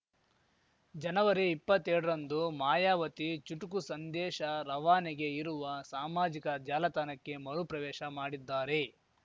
ಜನವರಿಇಪ್ಪತ್ತೆರಡರಂದು ಮಾಯಾವತಿ ಚುಟುಕು ಸಂದೇಶ ರವಾನೆಗೆ ಇರುವ ಸಾಮಾಜಿಕ ಜಾಲತಾಣಕ್ಕೆ ಮರುಪ್ರವೇಶ ಮಾಡಿದ್ದಾರೆ